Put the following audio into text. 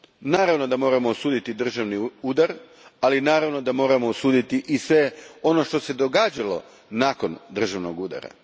Naravno da moramo osuditi državni udar, ali naravno da moramo osuditi i sve ono što se događalo nakon državnog udara.